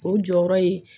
O jɔyɔrɔ ye